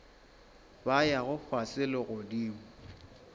ba yago fase le godimo